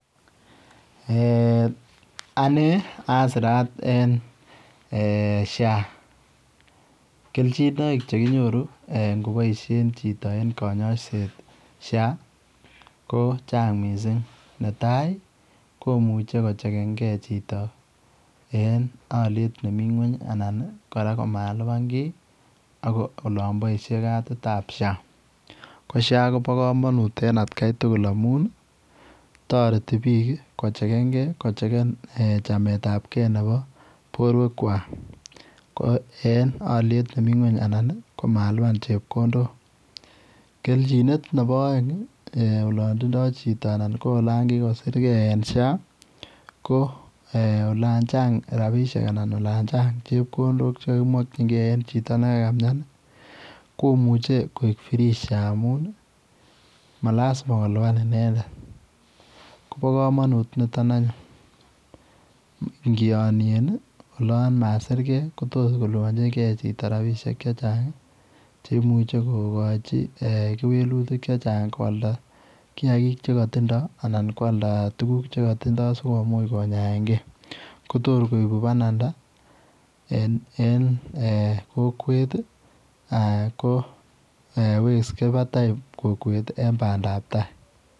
Eeh ane asiraat eng [social health authority] kelchinaik chekinyoruu ingoboisien chitoo eng kanyaiseet ii eng [social health authority] ko ne tai ii komuchei ko chekeen kei chitoo eng aliet nemii ngweeny anan kora komalupaan kiiy kora olaan boisie katit ab [social health authority] ko ] social health authority] koba kamanut missing kotaretii biik ii ko chekeen gei ii chamet ab kei nebo boruek kwaak ko eng aliet nemii kweeny ii anan komalupaan chepkondook keljineet nebo aeng olaan tindoi chitoo anan ko olaan kikosirgei eng [social health authority] ko eeh olaan chaang rapisheek anan ko olaan chaang chepkondook che makyingei en chitoo olaan kamian Ii komuchei koek free [social health authority] amuun ii malazima kolupaan inendet kobaa kamanuut anyuun nitoon ingianien ii olaan masiirgei kotoor kplupanjin kei chitoo rapisheek che chaang cheimuiche kogochii kewelutiik che chaang koyaldaa kinyaa chekatindaa anan ko aldaa tuguuk che kotindoi sikomuuch kinyaen gei kotoor koibuu banandaa en eeh kokwet ko weksei batai kokwet eng bandap tai.